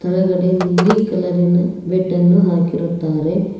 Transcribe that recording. ಕೆಳಗಡೆ ನೀಲಿ ಕಲರಿನ ಬೆಡ್ಡನ್ನು ಹಾಕಿರುತ್ತಾರೆ.